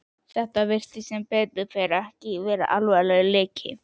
Þetta virtist, sem betur fór, ekki vera alvarlegur leki.